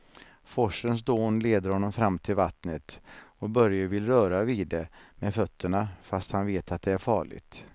Forsens dån leder honom fram till vattnet och Börje vill röra vid det med fötterna, fast han vet att det är farligt.